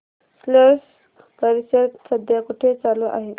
स्लश परिषद सध्या कुठे चालू आहे